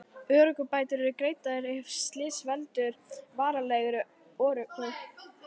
Örorkubætur eru greiddar ef slys veldur varanlegri örorku.